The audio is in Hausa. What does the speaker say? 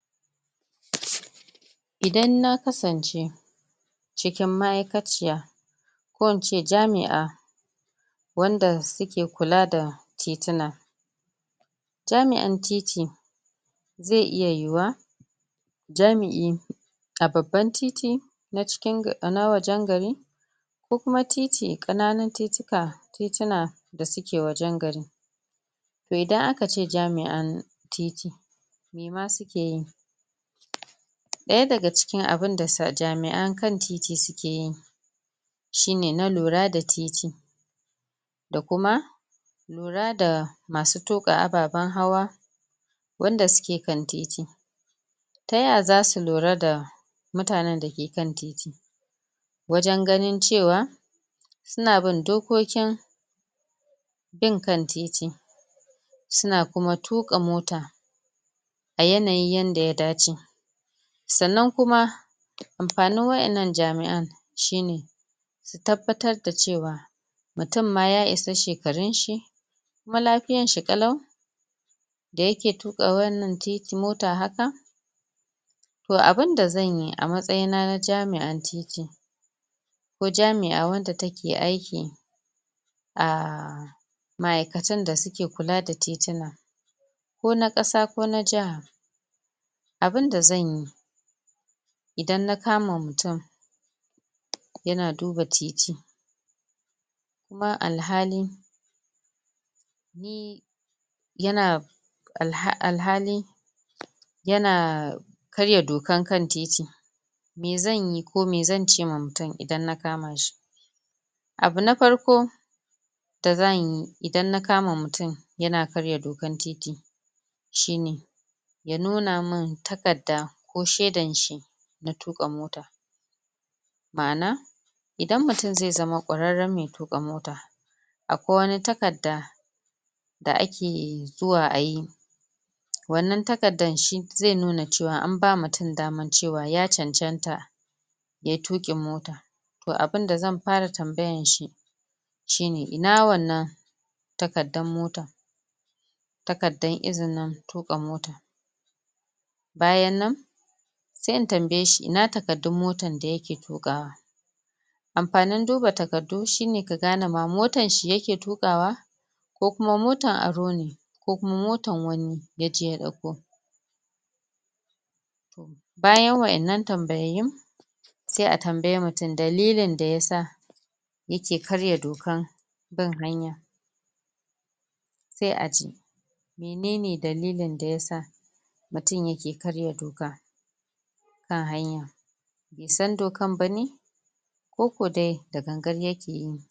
Idan na kasance cikin ma'aikaciya ko in ce jami'a wanda suke kula da tituna. Jami'an Titi, zai iya yiwuwa jami'i a babbabn titi na wajen gari ko kuma titi, ƙananan tituna da suke wajen gari. To idan akace Jami'an a titi, me ma suke yi? ɗaya daga cikin abun da jamia'an kan titi suke yi shine na ɗura da titi da kuma lura da masu tuƙa ababen hawa, wanda suke kan titi. Ta yaya zasu ɗura da mutanen da ke kan Titi? Wajen ganin cewa, suna bin dokokin bin kan titi suna kuma tuƙa mota a yanayi yadda ya dace. Sannan kuma amfanin waɗannan jami'an shine tabbatar da cewa mutumma ya isa shekarunshi, kuma lafiyanshi ƙalau, da yaje tuƙawannan mota haka? To abinda zanyi a matsayina na jami'ar titi ko jami'a wanda take a ma'aikatan da suke kula da tituna, ko na ƙasa ko na jaha. Abunda zan yi idan na kama mutum yana duba titi ba alhalin yana alhali yana.. karya dokan kan titi, me zanyi ko me zan cewa mutum idan na kama shi? Abu na Farko da zanyi, idan na kama mutum yana karya dkan titi shine ya nuna mi takadda ko shaidan shi na tuƙa mota. Ma'ana idan mutum zai zama ƙwararren mai tuƙa mota akwai wani takadda da ake zuwa ayi wanan takaddadan shi zai nuwa cewa anba mutum daman cewa ya cancanta ya yi tuƙin mota. To abinda zan fara tambayarshi shine ina wannan takaddan motan, takaddan iini tuƙa motar. Bayan nan sai in tambayeshi ina takaddun mtar da yake tuƙawa? Amfanin duba takaddu shine ka gane ma motanshi ya ke tuƙawa ko kuma motan arone, ko kuma motan wani ya je ya ɗuko. Baya waɗannan tambayoyin, sai a tambay mutum dalilin da ya sa yake karya dokan bin hanya. sai a ji menene dalilin da ya sa mutum yake karya dokar kan hanya, Bai san dokan bane? ko ko dai da gangan yake yi?